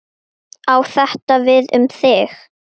Á þetta við um þig?